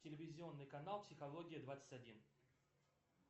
телевизионный канал психология двадцать один